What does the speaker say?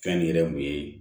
Fɛn yɛrɛ mun ye